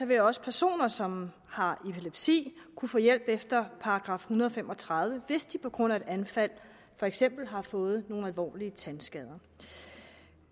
vil også personer som har epilepsi kunne få hjælp efter § en hundrede og fem og tredive hvis de på grund af et anfald for eksempel har fået nogle alvorlige tandskader